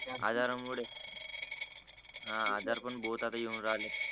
आजार मुळे हा आजार पण येऊन राहिले